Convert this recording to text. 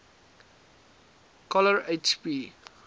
coller h p